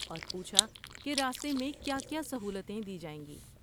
اور پوچھا کہ راستے میں کیا کیا سہولتیں دی جائیں گی۔